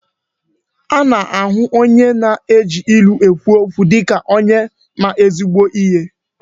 Ana-ahụ onye na-eji ilu ekwu okwu dịka ma ezigbo ihe.